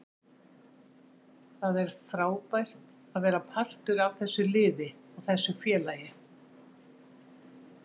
Það er frábært að vera partur af þessu liði og þessu félagi.